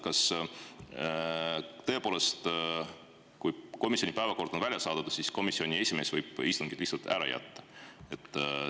Kas tõepoolest, kui komisjoni päevakord on laiali saadetud, võib komisjoni esimees istungi lihtsalt ära jätta?